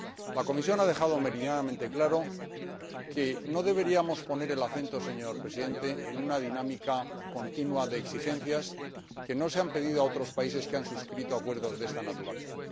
La Comisión ha dejado meridianamente claro que no deberíamos poner el acento, señor Presidente, en una dinámica continua de exigencias que no se han impuesto a otros países que han suscrito acuerdos de esta naturaleza.